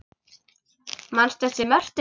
Manstu eftir Mörtu?